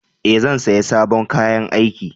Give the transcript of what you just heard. Ee, zan saya sabon kayan aiki.